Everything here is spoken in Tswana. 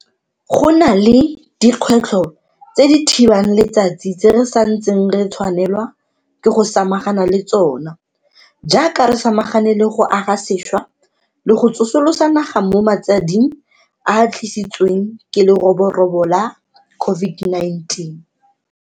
Go na le dikgwetlho tse di thibang letsatsi tse re sa ntseng re tshwanelwa ke go samagana le tsona jaaka re samagane le go aga sešwa le go tsosolosa naga mo matsading a a tlisitsweng ke leroborobo la COVID-19.